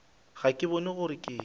ga ke bone gore ke